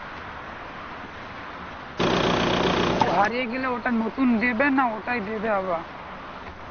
হারিয়ে গেলে গেলে ওটা নতুন দেবে না ওটাই দেবে আবার।